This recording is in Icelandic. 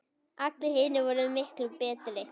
Allir hinir voru miklu betri.